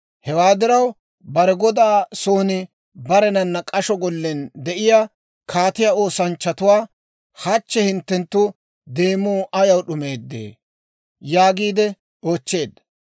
Hewaa diraw bare godaa soon barenana k'asho gollen de'iyaa kaatiyaa oosanchchatuwaa, «Hachche hinttenttu demuu ayaw d'umeedee?» yaagiide oochcheedda.